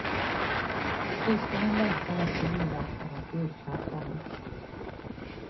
Syskonen längtar efter julafton och julklapparna.